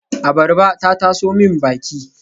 Abarba ta taso min baki